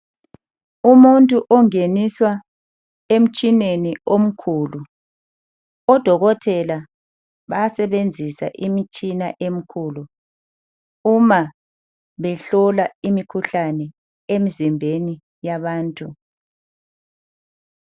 Umuntu ungeniswa emtshineni omkhulu. Odokotela bayasebenzisa imitshina emikhulu uma behlola imikhuhlane imzimbeni yabantu.